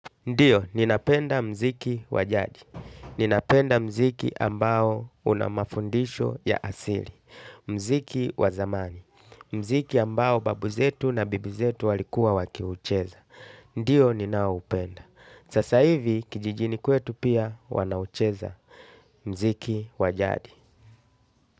Ndiyo, ninapenda mziki wajaji. Ninapenda mziki ambao una mafundisho ya asili. Mziki wa zamani. Mziki ambao babu zetu na bibi zetu walikuwa wakiucheza. Ndio ninaoupenda aasa hivi kijijini chetu wanaucheza pia mziki wa jadi.